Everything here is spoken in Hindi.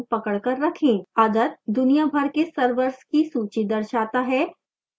other दुनिया भर के servers की सूची दर्शाता है